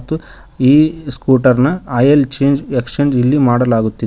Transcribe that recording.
ಮತ್ತು ಈ ಸ್ಕೂಟರ್ನ ಆಯಿಲ್ ಚೇಂಜ್ ಎಕ್ಸ್ಚೇಂಜ್ ಇಲ್ಲಿ ಮಾಡಲಾಗುತ್ತಿದೆ.